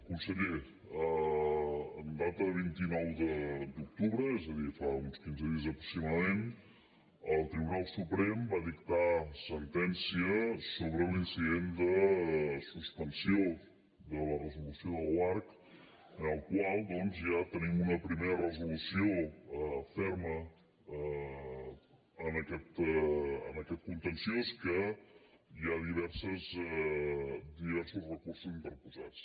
conseller en data de vint nou d’octubre és a dir fa uns quinze dies aproximadament el tribunal suprem va dictar sentència sobre l’incident de suspensió de la resolució de l’oarcc en el qual doncs ja tenim una primera resolució ferma en aquest contenciós que hi ha diversos recursos interposats